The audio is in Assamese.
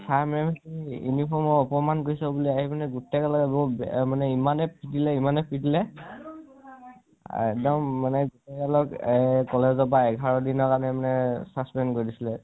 uniform ৰ অকনমান পিচত উলাই আহি মানে গু গুতেই গালকে ইমানেই পিতিলে ইমানেই পিতিলে আৰু এক্দম মানে গুতেইবিলাকক এঘাৰ দিনিৰ বাবে suspend কৰি দিছিলে